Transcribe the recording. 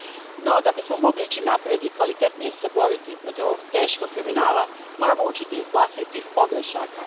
No, da bismo mogli ići naprijed i kvalitetnije se boriti protiv ovog teškog kriminala, moramo učiti iz vlastitih pogrešaka.